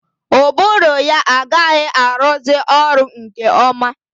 Ụbụrụ ya agaghị arụzi ọrụ nke ọma.